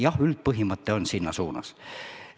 Jah, üldpõhimõte ja suund on paigas.